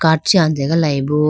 card chee anje galayi bo.